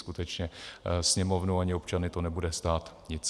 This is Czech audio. Skutečně Sněmovnu ani občany to nebude stát nic.